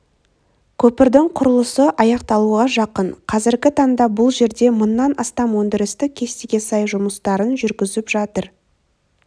көпірдің құрылысы аяқталуға жақын қазіргі таңда бұл жерде мыңнан астам өндірістік кестеге сай жұмыстарын жүргізіп жатыр